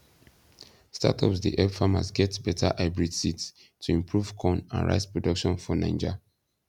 startups dey help farmers get better hybrid seeds to improve corn and rice production for naija